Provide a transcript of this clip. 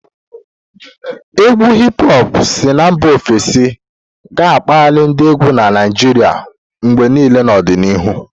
Égwù Hip-hopu si na mba ofesi ga-akpali ndị égwù na Naijiria mgbe niile n'ọdịnihu.